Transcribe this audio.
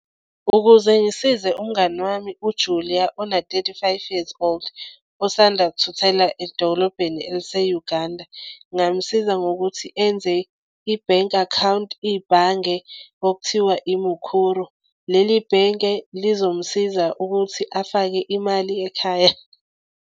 Ukuze ngisize umngani wami uJulia ona-thirty-five years old, osanda kuthuthela edolobheni elise-Uganda ngingamusiza ngokuthi enze ibhenki akhawunti. Ibhange okuthiwa iMukuru leli bhenke lizomusiza ukuthi afake imali ekhaya.